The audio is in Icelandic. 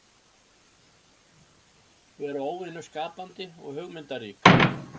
Vera óvenju skapandi og hugmyndarík.